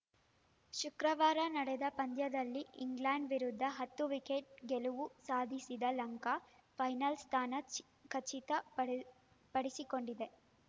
ಶುಕ್ರವಾರ ನಡೆದ ಪಂದ್ಯದಲ್ಲಿ ಇಂಗ್ಲೆಂಡ್‌ ವಿರುದ್ಧ ಹತ್ತು ವಿಕೆಟ್‌ ಗೆಲುವು ಸಾಧಿಸಿದ ಲಂಕಾ ಫೈನಲ್‌ ಸ್ಥಾನ ಚಿ ಖಚಿತ ಪಡೆ ಪಡಿಸಿಕೊಂಡಿದೆ